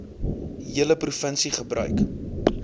hele provinsie gebruik